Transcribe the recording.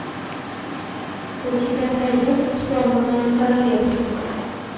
у тебя найдется сломанное королевство